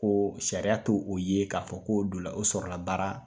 Ko sariya t'o ye k'a fɔ ko donna, o sɔrɔla baara